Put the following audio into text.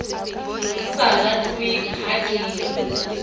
sa ratweng ha ke re